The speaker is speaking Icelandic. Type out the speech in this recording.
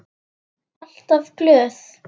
Alltaf glöð.